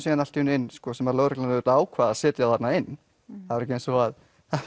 klúbbsmönnum allt í einu inn sem lögreglan auðvitað ákvað að setja þarna inn það var ekki eins og